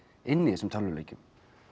inni í þessum tölvuleikjum